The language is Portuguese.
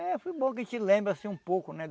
É, foi bom que a gente lembra assim um pouco, né?